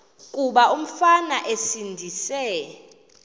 kuba umfana esindise